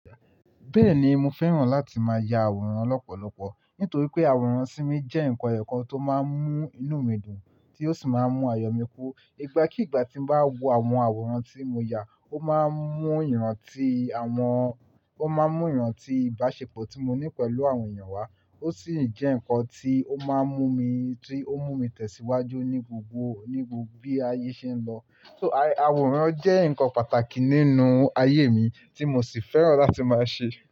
Bẹ́ẹ̀ni, mo fẹ́ràn láti máa ya àwòrán lọ́pọ̀lọpọ̀ nítorí pé àwòrán sí mi jẹ́ ǹkan ẹ̀kọ́ tó máa ń mú inú mi dùn tí ó sì máa ń mú ayọ̀ mi kú. Ìgbà kí ìgbà tí mo bá wo àwọn àwòrán tí mo yà, ó máa ń mú ìran ti àwọn, ó máa ń mú ìran ti ìbáṣepọ̀ tí mo ní pẹ̀lú àwọn èèyàn wá ó sì ń jẹ́ ǹkan tí ó máa ń mú mi, tí ó mú mi tẹ̀síwájú ní gbogbo, ní gbogbo bí ayé ṣe ń lọ. So àwòrán jẹ́ ǹkan pàtàkì nínú ayé mi tí mo sì fẹ́ràn láti máa ṣe.